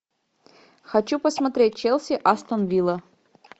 хочу посмотреть челси астон вилла